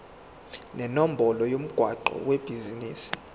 nenombolo yomgwaqo webhizinisi